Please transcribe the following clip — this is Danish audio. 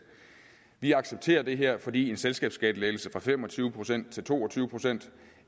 vi accepterer det her fordi en selskabsskattelettelse fra fem og tyve procent til to og tyve procent